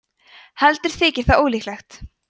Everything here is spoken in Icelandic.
heldur þykir það ólíklegt